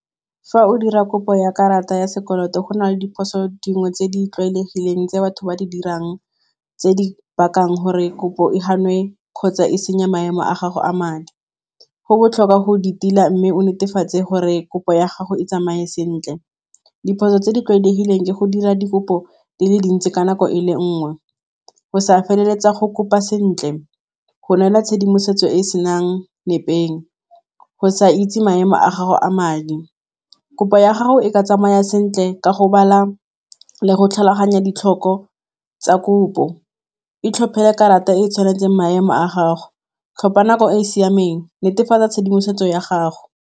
Fa o dira kopo ya karata ya sekoloto go na le diphoso dingwe tse di tlwaelegileng tse batho ba di dirang tse di bakang gore kopo e ganwe kgotsa e senya maemo a gago a madi. Go botlhokwa go di tila mme o netefatse gore kopo ya gago e tsamaye sentle diphoso tse di tlwaelegileng ke go dira dikopo di le dintsi ka nako e le nngwe, go sa feleletsa go kopa sentle, go neela tshedimosetso e e senang nepeng, go sa itse maemo a gago a madi. Kopo ya gago e ka tsamaya sentle ka go bala le go tlhaloganya ditlhoko tsa kopo, e tlhopele karata e e tshwanetseng maemo a gago, tlhopa nako e e siameng, netefatsa tshedimosetso ya gago.